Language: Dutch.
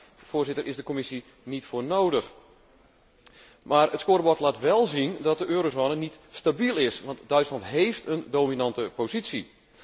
Daar is de Commissie niet voor nodig. Maar het scorebord laat wél zien dat de eurozone niet stabiel is, want Duitsland heeft een dominante positie.